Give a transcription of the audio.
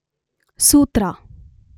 ಸೂತ್ರ